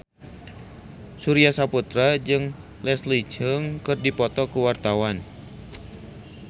Surya Saputra jeung Leslie Cheung keur dipoto ku wartawan